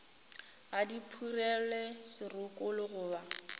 ga di phurelwe dirokolo goba